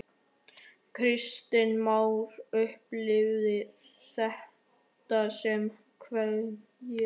Kristján Már: Upplifirðu þetta sem ævintýri?